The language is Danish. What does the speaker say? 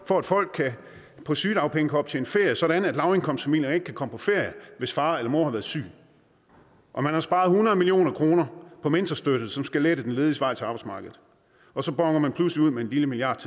for at folk på sygedagpenge kan optjene ferie sådan at lavindkomstfamilier ikke kan komme på ferie hvis far eller mor har været syg og man har sparet hundrede million kroner på mentorstøtte som skal lette den lediges vej til arbejdsmarkedet og så bonner man pludselig ud med en lille milliard